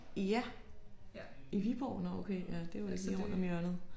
Ja? I Viborg nåh okay ja det jo ikke lige rundt om hjørnet